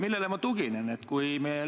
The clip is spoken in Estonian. Millele ma tuginen?